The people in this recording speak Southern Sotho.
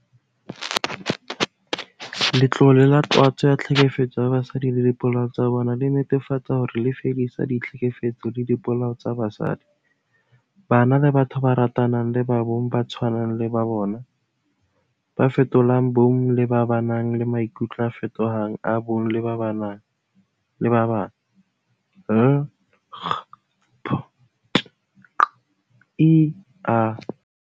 Sewa sena ke taba ya bophelo le lefu.